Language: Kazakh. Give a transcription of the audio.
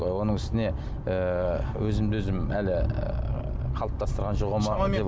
оның үстіне ыыы өзімді өзім әлі ііі қалыптастырған